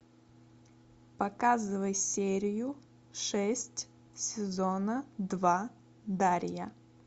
показывай серию шесть сезона два дарья